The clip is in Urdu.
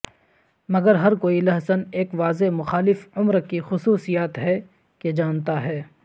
مگر ہر کوئی لہسن ایک واضح مخالف عمر کی خصوصیات ہے کہ جانتا ہے